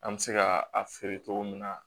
An bɛ se ka a feere cogo min na